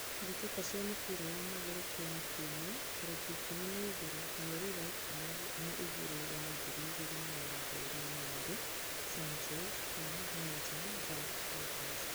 Mbitika cia mũbira wa magũrũ Kenya kiũmia, tarekĩ ikũmi na igĩrĩ, mweri wa ikũmi na igirĩ wa ngiri igĩrĩ na mĩrongo ĩĩrĩ: Sanchez, Ken, Nelson, Jack, Titus